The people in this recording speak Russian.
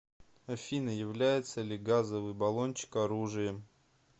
афина является ли газовый баллончик оружием